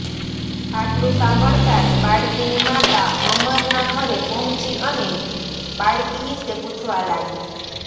આટલું સાંભળતા જ બાળકીની માતા અમરના ઘરે પહોંચી અને બાળકી વિશે પૂછવા લાગી